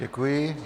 Děkuji.